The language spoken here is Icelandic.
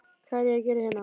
Hvað er ég að gera hérna?